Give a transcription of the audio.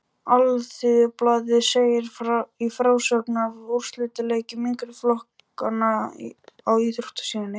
Alþýðublaðið segir í frásögn af úrslitaleikjum yngri flokkanna á íþróttasíðunni